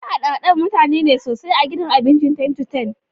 Akwai hada-hadar mutane ne sosai a gudan abincin ten-to-ten